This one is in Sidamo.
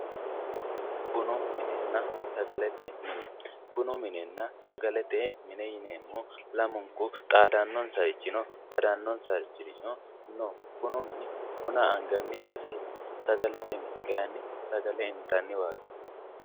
Bunu minenna sagalete mine, bunu minenna sagalete mine yineemohu lamunku xaadanonsarichi no badanonsari no bunu mini bina angani baseeti, sagalete mini kayinni sagale intanni mineeti.